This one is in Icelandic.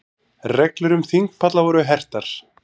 Reglur um þingpalla voru hertar